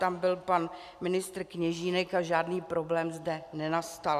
Tam byl pan ministr Kněžínek a žádný problém zde nenastal.